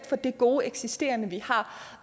for det gode eksisterende vi har